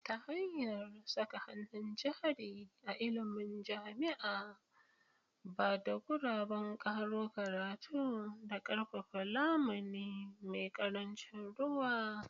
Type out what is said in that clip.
Ta hanyar saka hannun jari a ilimin jama'a, ba da guraben karo karatu, da ƙarfafa lamuni mai ƙarancin ruwa.